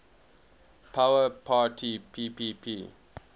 power parity ppp